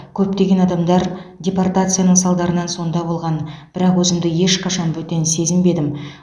көптеген адамдар депортацияның салдарынан сонда болған бірақ өзімді ешқашан бөтен сезінбедім